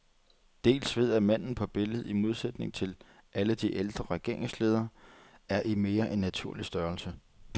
Dels ved at manden på billedet, i modsætning til alle de ældre regeringsledere, er i mere end naturlig størrelse.